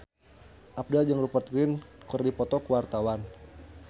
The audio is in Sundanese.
Abdel jeung Rupert Grin keur dipoto ku wartawan